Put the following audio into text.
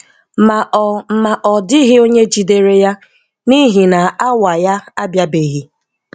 Ma ọ Ma ọ dịghị onye jidere ya, n'ihi na awa ya abịabeghị.+